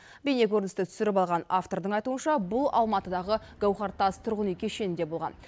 бейнекөріністі түсіріп алған автордың айтуынша бұл алматыдағы гауһартас тұрғын үй кешінінде болған